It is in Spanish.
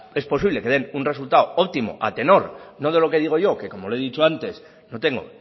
es posible que den un resultado óptimo a tenor no de lo que digo yo que como le he dicho antes no tengo